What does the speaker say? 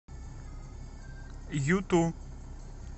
юту